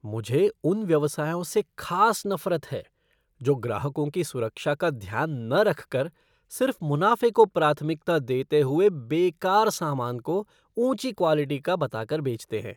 मुझे उन व्यवसायों से ख़ास नफ़रत है जो ग्राहकों की सुरक्षा का ध्यान न रखकर सिर्फ़ मुनाफ़े को प्राथमिकता देते हुए बेकार सामान को ऊँची क्वालिटी का बता कर बेचते हैं।